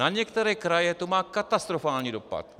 Na některé kraje to má katastrofální dopad.